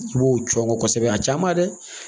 I b'o cɔngɔ kosɛbɛ a caman dɛ